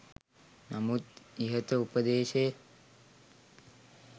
නමුත් ඉහත උපදේශය